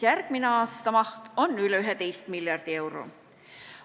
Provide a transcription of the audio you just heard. Järgmise aasta eelarve maht on üle 11 miljardi euro.